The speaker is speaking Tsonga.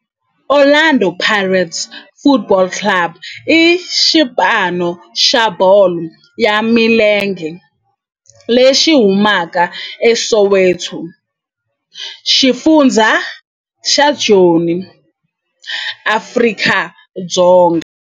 Orlando Pirates Football Club i xipano xa bolo ya milenge lexi humaka eSoweto, xifundzha xa Joni, Afrika-Dzonga.